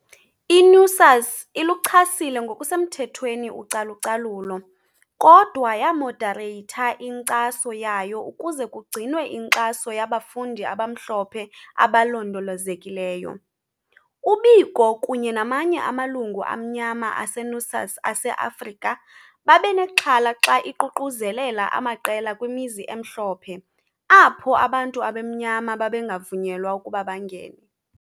I-NUSAS iluchasile ngokusemthethweni ucalucalulo, kodwa yamodareyitha inkcaso yayo ukuze kugcinwe inkxaso yabafundi abamhlophe abalondolozekayo. . UBiko kunye namanye amalungu amnyama ase-NUSAS ase-Afrika babenexhala xa iququzelela amaqela kwimizi emhlophe, apho abantu abamnyama babengavunyelwa ukuba bangene.